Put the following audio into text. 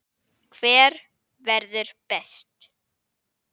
Hver verður best?